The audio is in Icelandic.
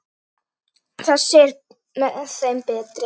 Þessi er með þeim betri.